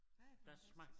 Ej fantastisk